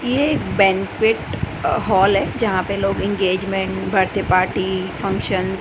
ये एक banquet hall है यहां पे लोग इंगेजमेंट बर्थडे पार्टी फंक्शन --